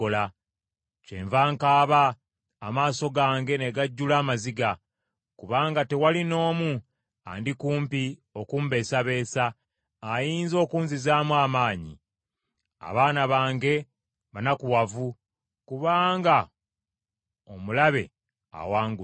“Kyenva nkaaba, amaaso gange ne gajjula amaziga, kubanga tewali n’omu andi kumpi okumbeesabeesa, ayinza okunzizaamu amaanyi. Abaana bange banakuwavu kubanga omulabe awangudde.”